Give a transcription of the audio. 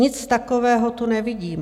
Nic takového tu nevidím.